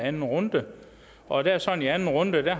anden runde og det er sådan i anden runde at